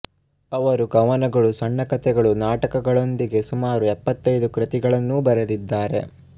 ಅವರು ಕವನಗಳು ಸಣ್ಣ ಕಥೆಗಳು ನಾಟಕಗಳೊಂದಿಗೆ ಸುಮಾರು ಎಪ್ಪತ್ತೈದು ಕೃತಿಗಳನ್ನೂ ಬರೆದಿದ್ದಾರೆ